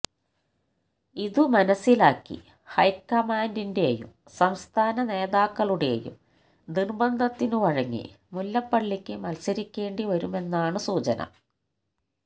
ഇതു മനസിലാക്കി ഹൈക്കമാന്ഡിന്റെയും സംസ്ഥാന നേതാക്കളുടെയും നിര്ബന്ധത്തിനു വഴങ്ങി മുല്ലപ്പള്ളിക്ക് മത്സരിക്കേണ്ടി വരുമെന്നാണ് സൂചന